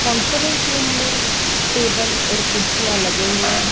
Conference room मे table और कुर्सियां लगी हुई है।